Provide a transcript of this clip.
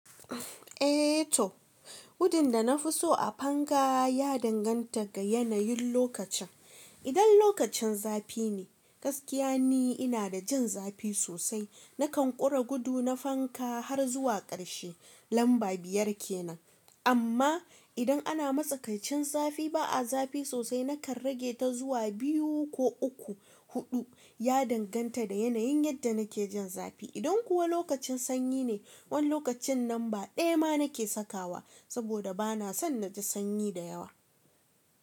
Eh toh, gudun da na fi so a fanka ya danganta ga yanayin lokacin. Idan lokacin zafi ne, gaskiya ni ina da jin zafi sosai. Nakan ƙure gudu na fanka har zuwa ƙarshe lamba biyar ke nan. Amma idan ana matsakaicin zafi ba a zafi sosai nakan rage ta zuwa biyu ko uku, huɗu ya danganta da yanayin yadda nake jin zafi. Idan kuwa lokacin sanyi ne, wani lokacin lamba ɗaya ma nake sakawa saboda ba na son na ji sanyi da yawa.